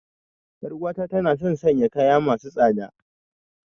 Yar uwata tana son sanya kaya masu tsada.